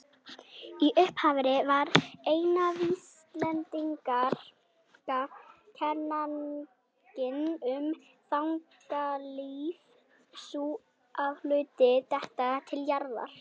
Í upphafi var eina vísindalega kenningin um þyngdaraflið sú að hlutir detta til jarðar.